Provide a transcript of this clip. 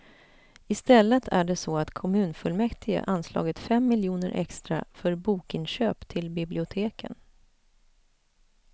Istället är det så att kommunfullmäktige anslagit fem miljoner extra för bokinköp till biblioteken.